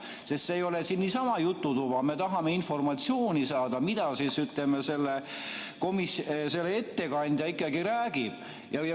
See ei ole siin niisama jututuba, me tahame komisjoni ettekandjalt informatsiooni saada.